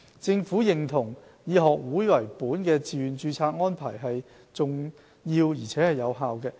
政府認同以學會為本的自願註冊安排是重要而且有效的。